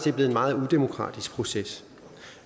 er blevet en meget udemokratisk proces